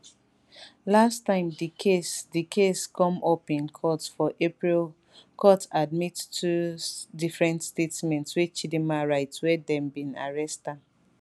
last time di case di case come up in court for april court admit two different statements wey chidinma write wen dem bin arrest am